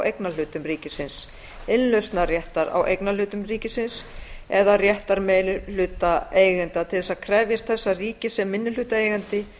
eignarhlutum ríkisins innlausnarréttar á eignarhlutum ríkisins eða réttar meirihlutaeiganda til þess að krefjast þess að ríkið sem minnihlutaeigandi